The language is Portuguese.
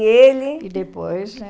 E ele... E depois, né?